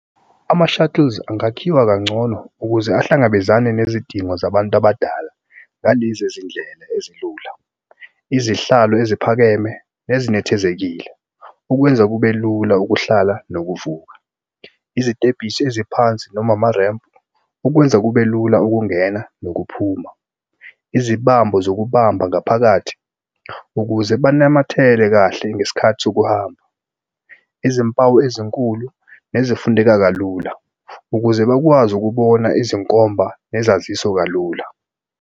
Ama-shuttles angakhiwa kangcono ukuze ahlangabezane nezidingo zabantu abadala ngalezi zindlela ezilula, izihlalo eziphakeme nezinethezekile okwenza kube lula ukuhlala nokuvuka. Izitebhisi eziphansi noma amarempu okwenza kube lula ukungena nokuphuma. Izibambo zokubamba ngaphakathi ukuze banamathele kahle ngesikhathi sokuhamba. Izimpawu ezinkulu nezifundeka kalula ukuze bakwazi ukubona izinkomba nesaziso kalula.